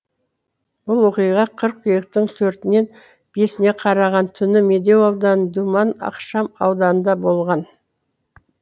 бұл оқиға қыркүйектің төртінен бесіне қараған түні медеу ауданы думан ықшам ауданында болған